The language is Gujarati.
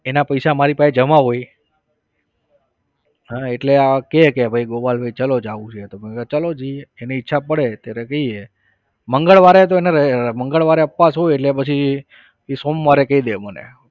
એના પૈસા મારા પાસે જમા હોય. હા એટલે આ કહે કે ભાઈ ગોપાલભાઈ ચલો જાવું છે તો મે કીધું ચાલો જઈએ એની ઈચ્છા પડે ત્યારે જઈએ મંગળવારે તો એને મંગળવારે ઉપવાસ હોય એટલે પછી એ સોમવારે કહી દે મને.